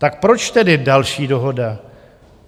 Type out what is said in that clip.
Tak proč tedy další dohoda?